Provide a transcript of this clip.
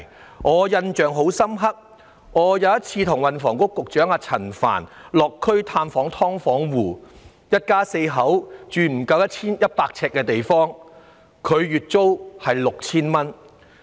令我印象深刻的是，有一次與運輸及房屋局局長陳帆落區探訪"劏房戶"，看到有一家四口居住在面積不足100平方呎的地方，月租卻竟高達 6,000 元。